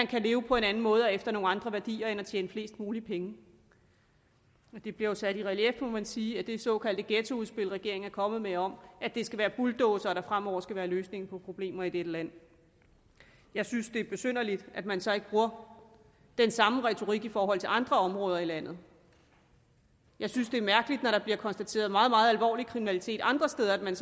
kan leve på en anden måde og efter nogle andre værdier end at tjene flest mulige penge det bliver jo sat i relief må man sige af det såkaldte ghettoudspil regeringen er kommet med om at det skal være bulldozere der fremover skal være løsningen på problemer i dette land jeg synes det er besynderligt at man så ikke bruger den samme retorik i forhold til andre områder i landet jeg synes det er mærkeligt når der bliver konstateret meget meget alvorlig kriminalitet andre steder at man